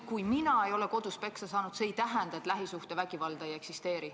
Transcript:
Kui mina ei ole kodus peksa saanud, siis see ei tähenda, et lähisuhtevägivalda ei eksisteeri.